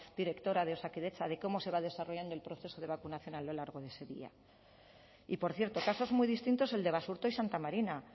directora de osakidetza de cómo se va desarrollando el proceso de vacunación a lo largo de ese día y por cierto casos muy distintos el de basurto y santa marina